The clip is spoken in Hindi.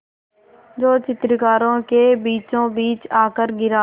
जो चित्रकारों के बीचोंबीच आकर गिरा